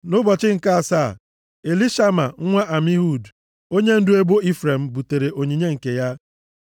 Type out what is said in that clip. Nʼụbọchị nke asaa, Elishama, nwa Amihud, onyendu ebo Ifrem butere onyinye nke ya.